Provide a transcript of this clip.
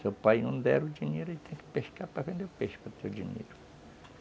Se o pai não der o dinheiro, ele tem que pescar para vender o peixe para ter o dinheiro.